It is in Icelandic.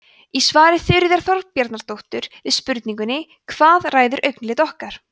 í svari þuríðar þorbjarnardóttur við spurningunni hvað ræður augnalit okkar